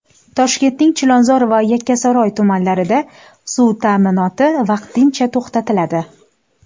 Toshkentning Chilonzor va Yakkasaroy tumanlarida suv ta’minoti vaqtincha to‘xtatiladi.